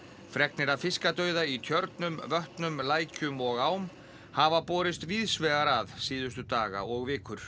fregnir af fiskadauða í tjörnum vötnum lækjum og ám hafa borist víðs vegar að síðustu daga og vikur